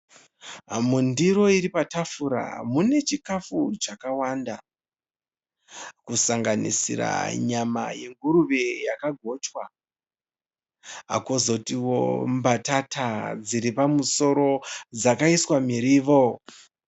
Mundiro iri patafura mune chikafu chakawanda kusanganisira nyama yenguruve yakagochwa kwozotiwo mbatata dziri pamusoro dzakaiswa miriwo.